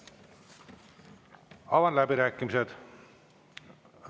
Avan läbirääkimised.